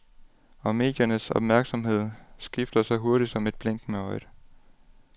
Og mediernes opmærksomhed skifter så hurtigt som et blink med øjet.